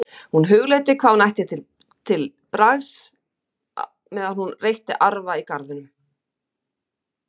Hún hugleiddi hvað hún ætti að taka til bragðs meðan hún reytti arfa í garðinum.